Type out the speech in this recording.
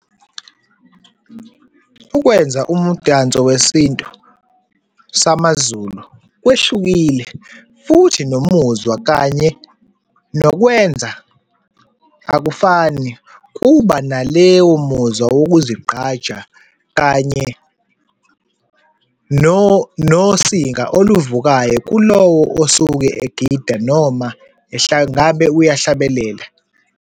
Ukwenza umdanso wesintu samaZulu kwehlukile, futhi nomuzwa, kanye nokwenza akufani kuba naleyo muzwa wokuzigqaja, kanye nosinga oluvukayo kulowo osuke egida noma ngabe uyahlabelela.